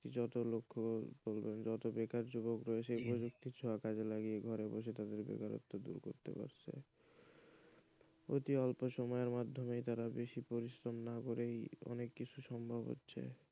যত লক্ষ্য যত বেকার যুবক রয়েছে তারা প্রযুক্তিকে কাজে লাগিয়ে ঘরে বসে তাদের বেকারত্ব দূর করেছে অতি অল্প সময়ের মাধ্যমেই তারা বেশি পরিশ্রম না করেই অনেক কিছু সম্ভব হচ্ছে,